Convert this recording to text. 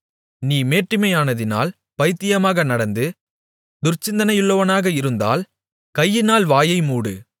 நீ மேட்டிமையானதினால் பைத்திமாக நடந்து துர்ச்சிந்தனையுள்ளவனாக இருந்தால் கையினால் வாயை மூடு